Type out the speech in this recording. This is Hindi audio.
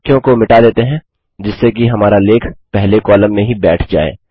कुछ वाक्यों को मिटा देते हैं जिससे कि हमारा लेख पहले कॉलम में ही बैठ जाए